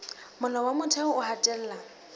molao wa motheo o hatella